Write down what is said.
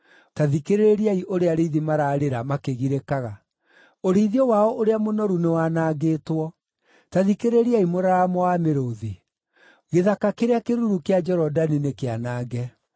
Ta thikĩrĩriai ũrĩa arĩithi maraarĩra, makĩgirĩkaga: ũrĩithio wao ũrĩa mũnoru nĩwanangĩtwo! Ta thikĩrĩriai mũraramo wa mĩrũũthi; gĩthaka kĩrĩa kĩruru kĩa Jorodani nĩkĩanange!